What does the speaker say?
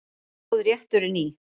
Stóð rétturinn í